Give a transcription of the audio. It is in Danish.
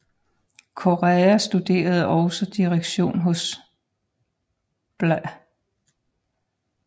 Corrêa studerede også direktion hos bla